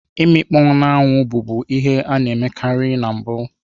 Imikpoo n'anwụ, bụbu ihe a na-emekarị na mbụ.